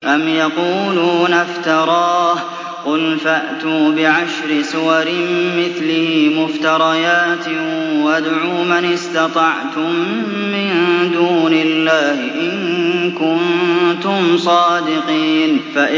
أَمْ يَقُولُونَ افْتَرَاهُ ۖ قُلْ فَأْتُوا بِعَشْرِ سُوَرٍ مِّثْلِهِ مُفْتَرَيَاتٍ وَادْعُوا مَنِ اسْتَطَعْتُم مِّن دُونِ اللَّهِ إِن كُنتُمْ صَادِقِينَ